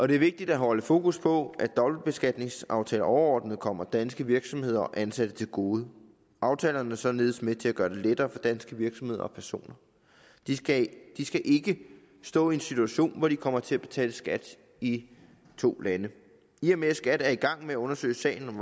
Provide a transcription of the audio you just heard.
det er vigtigt at holde fokus på at dobbeltbeskatningsaftaler overordnet kommer danske virksomheder og ansatte til gode aftalerne er således med til at gøre det lettere for danske virksomheder og personer de skal skal ikke stå i en situation hvor de kommer til at betale skat i to lande i og med at skat er i gang med at undersøge sagen om